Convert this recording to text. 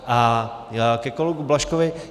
A ke kolegovi Blažkovi.